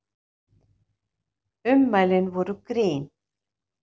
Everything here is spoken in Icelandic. Ummælin voru grín